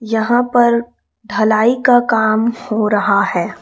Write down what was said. यहां पर ढलाई का काम हो रहा है।